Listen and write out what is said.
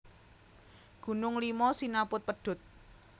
Gunung Limo sinaput pedhut